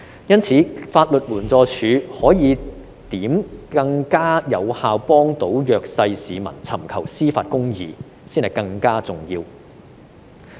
因此，法律援助署如何可以更加有效地幫助弱勢市民尋求司法公義，才是更加重要的問題。